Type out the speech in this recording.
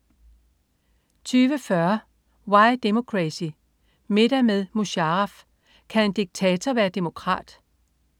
20.40 Why Democracy: Middag med Musharraf. Kan en diktator være demokrat?